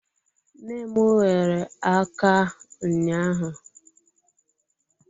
Nne m ghere aka ụnyaahụ.